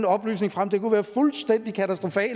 oplysning frem kunne være fuldstændig katastrofalt